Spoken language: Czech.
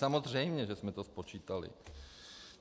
Samozřejmě že jsme to spočítali.